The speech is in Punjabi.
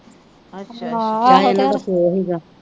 ਨਾਲ ਇਹਨਾਂ ਦਾ ਪਿਓ ਹੀ ਗਾ।